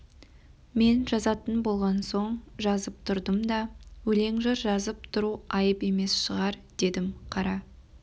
мен жазатын болған соң жазып тұрдым да өлең жыр жазып тұру айып емес шығар дедім қара